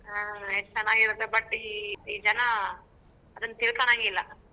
ಹ್ಮ್ ಎಷ್ಟ ಚನಾಗಿರತ್ತೆ but ಈ ಈ ಜನ ಅದನ್ನ್ ತಿಳ್ಕೋಳಂಗಿಲ್ಲ.